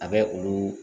A bɛ olu